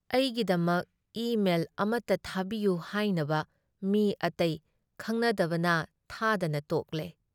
ꯑꯩꯒꯤꯗꯃꯛ ꯏ ꯃꯦꯜ ꯑꯃꯇ ꯊꯥꯕꯤꯌꯨ ꯍꯥꯏꯅꯕ ꯃꯤ ꯑꯇꯩ ꯈꯪꯅꯗꯕꯅ ꯊꯥꯗꯅ ꯇꯣꯛꯂꯦ ꯫